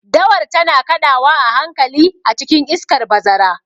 Dawar tana kaɗawa a hankali a cikin iskar bazara.